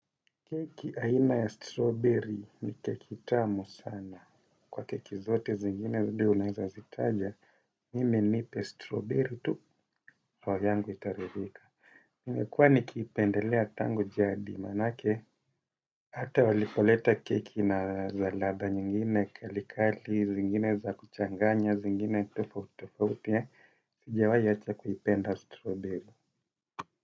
Keki aina ya strowberry ni keki tamu sana kwa keki zote zingine zile unaeza zitaja mimi nipe strowberry tu roho yangu itaridhika. Mekuwa nikiipendelea tangu jadi manake ata walipoleta keki na za latha nyingine kalikali zingine za kuchanganya zingine tofauti tofauti ya sijawai acha kuipenda strowberry.